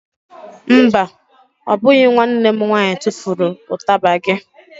Mba, ọ bụghị nwanne m nwaanyị tufuru ụtaba gị.